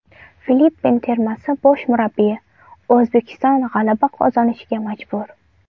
Filippin termasi bosh murabbiyi: O‘zbekiston g‘alaba qozonishga majbur.